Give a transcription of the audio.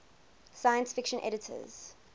science fiction editors